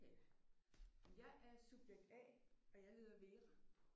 Men jeg er subjekt A og jeg hedder Vera